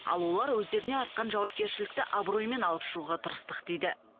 ал олар өздеріне артқан жауапкершілікті абыроймен алып шығуға тырыстық дейді